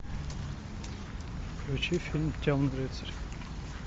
включи фильм темный рыцарь